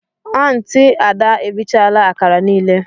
Aunti ada erichala akara niile.